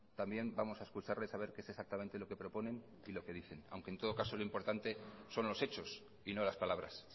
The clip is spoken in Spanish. también vamos a escucharles a ver qué es exactamente lo que proponen y lo que dicen aunque en todo caso lo importante son los hechos y no las palabras